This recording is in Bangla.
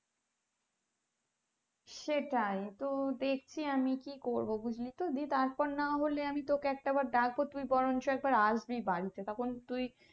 সেটাই তো দেখছি আমি কি করবো বুজলিতো তার পর নাহলে আমি তোকে একটা বার ডাকবো তুই বরঞ্চ আসবি বাড়িতে তখন তুই